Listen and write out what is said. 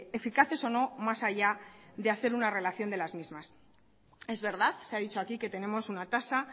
eficaces o no más allá de hacer una relación de las mismas es verdad se ha dicho aquí que tenemos una tasa